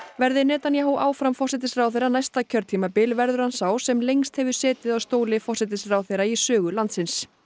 verði Netanyahu áfram forsætisráðherra næsta kjörtímabil verður hann sá sem lengst hefur setið á stóli forsætisráðherra í sögu landsins